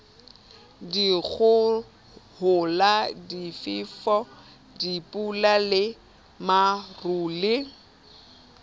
dikgohola difefo dipula le marole